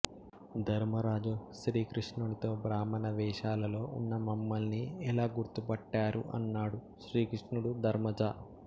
ధర్మరాజు శ్రీకృష్ణునితో బ్రాహ్మణ వేషాలలో ఉన్న మమ్మలిని ఎలా గుర్తు పట్టారు అన్నాడు శ్రీకృష్ణుడు ధర్మజా